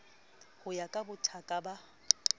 ho ya ka bothaka ba